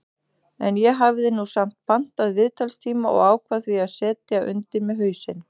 En ég hafði nú samt pantað viðtalstíma og ákvað því að setja undir mig hausinn.